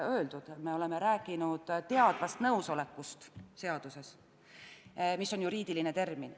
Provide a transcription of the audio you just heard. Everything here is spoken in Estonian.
Me oleme seaduses rääkinud "teadvast nõusolekust", mis on juriidiline termin.